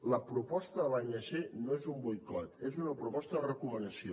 la proposta de l’anc no és un boicot és una proposta de recomanació